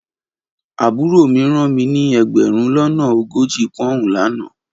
Aburo mi ran mi ni egberun lona ogoji poun lana